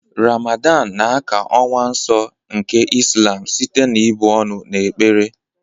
Ramadan na ákà ọnwa nsọ nke Islam site na ị̀bụ ọnụ na ekpere.